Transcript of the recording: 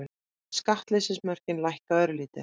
Skattleysismörkin lækka örlítið